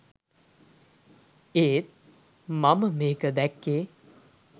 ඒත් මම මේක දැක්කේ